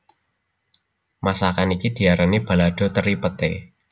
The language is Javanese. Masakan iki diarani balado teri Peté